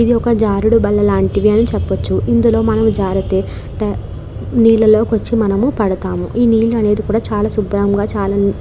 ఇది ఒక జారుడు బండ లాంటిది అని చెప్పవచ్చు ఇందులో మనం జారితే నీళ్లలో కి వచ్చి మనము పడతాం ఈ నీళ్లు అనేది చాల శుభ్రం గ చాల --